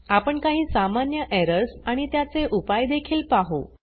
आपण काही सामान्य एरर्स आणि त्याचे उपाय देखील पाहु